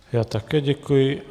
Já také děkuji.